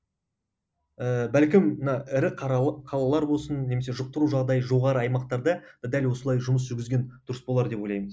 ііі бәлкім мына ірі қалалар болсын немесе жұқтыру жағдайы жоғары аймақтарда дәл осылай жұмыс жүргізген дұрыс болар деп ойлаймыз